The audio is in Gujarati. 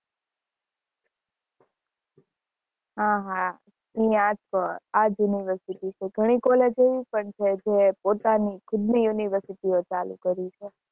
હ હ આજ university છે ઘણી college ઓ પોતાની ખુદની university ઓ ચાલુ કરી છે